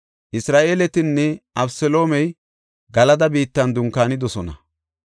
Isra7eeletinne Abeseloomey Galada biittan dunkaanidosona.